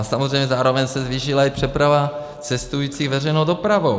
A samozřejmě zároveň se zvýšila i přeprava cestujících veřejnou dopravou.